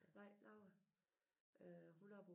Nej Laura øh hun er på